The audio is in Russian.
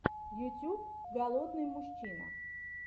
ютьюб голодный мужчина